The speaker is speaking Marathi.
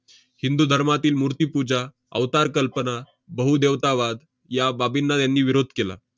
हिंदू धर्मातील मूर्तिपूजा, अवतार कल्पना, बहुदेवता वाद या बाबींना त्यांनी विरोध केला.